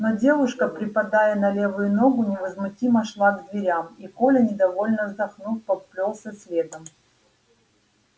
но девушка припадая на левую ногу невозмутимо шла к дверям и коля недовольно вздохнув поплёлся следом